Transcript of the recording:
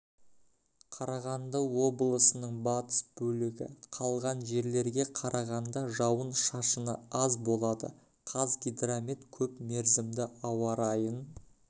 қарағанды облысының батыс бөлігі қалған жерлерге қарағанда жауын шашыны аз болады қазгидромет көпмерзімді ауа райын